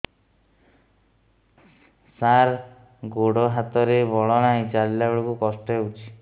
ସାର ଗୋଡୋ ହାତରେ ବଳ ନାହିଁ ଚାଲିଲା ବେଳକୁ କଷ୍ଟ ହେଉଛି